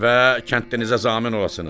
Və kəndlinizə zamin olasınız.